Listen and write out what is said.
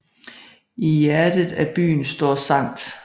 I hjertet af byen står Skt